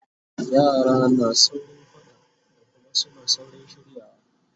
yara na saurin faɗa da Kuma suna saurin shiryawa